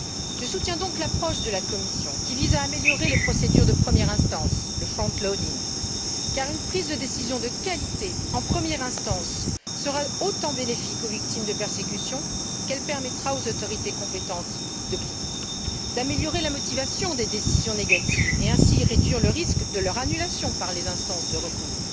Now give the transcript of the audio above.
Je soutiens donc l'approche de la Commission qui vise à améliorer les procédures de première instance, le front loading car une prise de décision de qualité en première instance sera autant bénéfique aux victimes de persécutions qu'elle permettra aux autorités compétentes de prendre des décisions solides, d'améliorer la motivation des décisions négatives et de réduire ainsi le risque de leur annulation par les instances de recours,